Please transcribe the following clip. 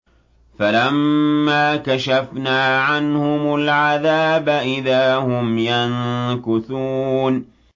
فَلَمَّا كَشَفْنَا عَنْهُمُ الْعَذَابَ إِذَا هُمْ يَنكُثُونَ